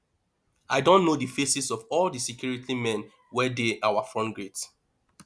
i don know the faces of all the security men wey dey our front gate